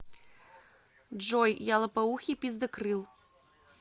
джой я лопоухий пиздакрыл